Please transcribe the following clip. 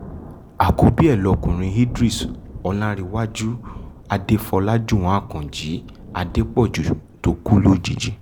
àkọ́bí ẹ̀ lọ́kùnrin idris ọláńréwájú adéfọ́ajúwọ̀n àkànjì adépọ́jú tó kù lójijì